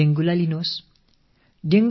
dengue காய்ச்சலையே எடுத்துக் கொள்வோமே